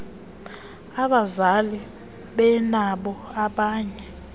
abazali benabo abanye